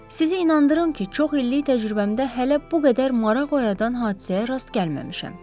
Sizi inandırım ki, çox illik təcrübəmdə hələ bu qədər maraq oyadan hadisəyə rast gəlməmişəm.